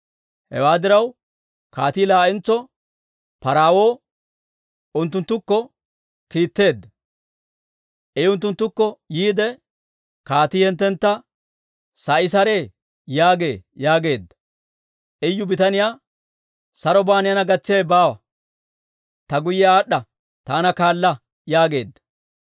Hewaa diraw, kaatii laa'entso paraawuwa unttunttukko kiitteedda. I unttunttukko yiide, «Kaatii hinttentta, ‹Sa'i saree?› yaagee» yaageedda. Iyu bitaniyaa, «Saroban neena gatsiyaawe baawa. Ta guyye aad'd'a taana kaala» yaageedda.